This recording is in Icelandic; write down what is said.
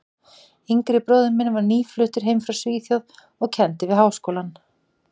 yngri bróðir minn var nýfluttur heim frá Svíþjóð og kenndi við Háskólann.